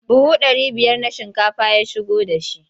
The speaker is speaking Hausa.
Buhu ɗari biyar ba shinkafa ya shigo da shi.